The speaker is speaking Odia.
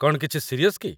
କ'ଣ କିଛି ସିରିଅସ୍ କି?